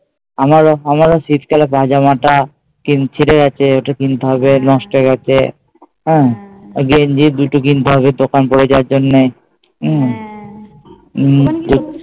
আমার ও, আমার ও শীতকালে পাজামাটা ছিঁড়ে গেছে ওটা কিনতে হবে নষ্ট হয়ে গেছে হ্যাঁ গেঞ্জি দুটো কিনতে হবে দোকান পরে যাওয়ার জন্যে হম